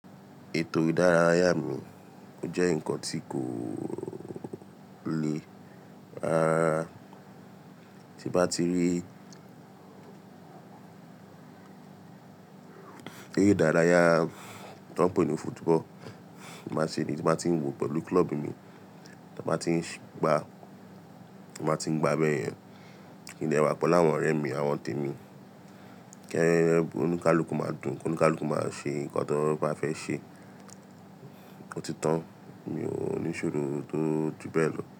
Ètò ìdárayá mi jẹ́ nǹkan tí kò le, tí bá ti rí ère idárayá tí wọ́n ń pè ní football, màá ṣe èyí tí màá tí ń wò pẹ̀lú club mi, tí màá tí ń gbá, màá ti ń gbá bẹ́ẹ̀ yẹn, kí n de wà pelu áwọn ọ̀rẹ́ mi àwọn tèmi. Kí oni kálùkù máa dùn, kí ẹnu kálùkù máa ṣe nǹkan tó bá fẹ́ ṣe. Òtítọ́ mi ò ní ìṣòro tó ju bẹ́ẹ̀ lọ.